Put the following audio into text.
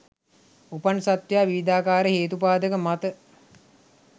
උපන් සත්වයා විවිධාකාර හේතුපාදක මත